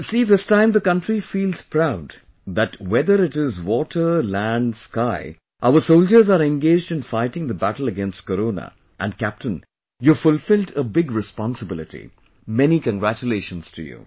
See this time the country feels proud that whether it is water, land, sky our soldiers are engaged in fighting the battle against corona and captain you have fulfilled a big responsibility...many congratulations to you